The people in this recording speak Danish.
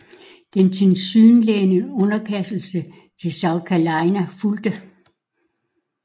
Den tilsyneladende underkastelse til South Carolina fulgte